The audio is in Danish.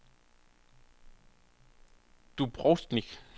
Dubrovnik